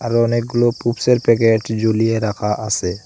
আরও অনেকগুলো পুপসের প্যাকেট ঝুলিয়ে রাখা আসে।